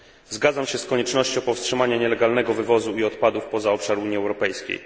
Zgadzam się z koniecznością powstrzymania nielegalnego wywozu e odpadów poza obszar Unii Europejskiej.